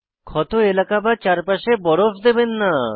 ক্ষত এলাকা বা চারপাশে বরফ দেবেন না